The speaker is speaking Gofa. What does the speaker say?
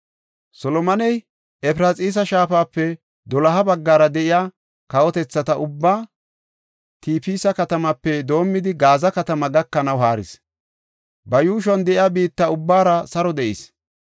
Solomoney Efraxiisa Shaafape doloha baggara de7iya kawotethata ubbaa Tifisa katamaape doomidi Gaaza katamaa gakanaw haaris; ba yuushuwan de7iya biitta ubbaara saro de7is.